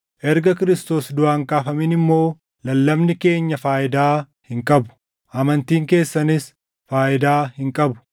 Erga Kiristoos duʼaa hin kaafamin immoo lallabni keenya faayidaa hin qabu; amantiin keessanis faayidaa hin qabu.